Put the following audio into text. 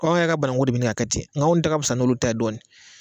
Ɔ anw yɛrɛ ka banangu be ɲini ka kɛ ten nga anw ta ka fisa n'olu ta ye dɔɔnin